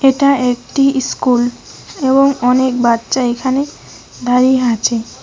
এটা একটি ইস্কুল এবং অনেক বাচ্চা এখানে দাঁড়িয়ে আছে।